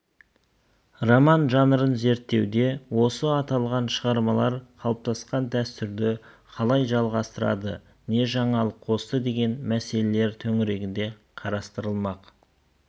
роман жанрын зерттеуде осы аталған шығармалар қалыптасқан дәстүрді қалай жалғастырды не жаңалық қосты деген мәселелер төңірегінде қарастырылмақ